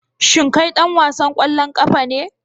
Shin kai dan wasan kwallon kafa ne